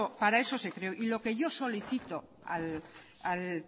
se creó y lo que yo solicito al